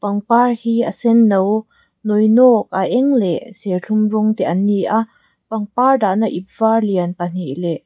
pangpar hi a senno nawinawk a eng leh serthlum rawng te an ni a pangpar dahna ip var lian pahnih leh--